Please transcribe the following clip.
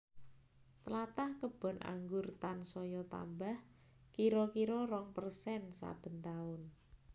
Tlatah kebon anggur tansaya tambah kira kira rong persen saben taun